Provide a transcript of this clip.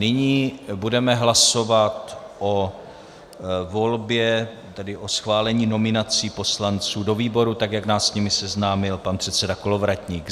Nyní budeme hlasovat o volbě, tedy o schválení nominací poslanců do výborů, tak jak nás s nimi seznámil pan předseda Kolovratník.